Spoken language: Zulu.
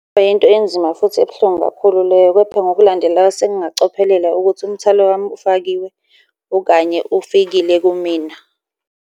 Kungayinto enzima futhi ebuhlungu kakhulu leyo, kepha ngokulandelayo sengingacophelela ukuthi umthwalo wami ufakiwe okanye ufikile kumina.